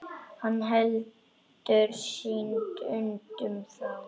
Hann heldur synd unum frá.